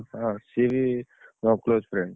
ହଁ ସିଏ ବି ମୋ close friend ।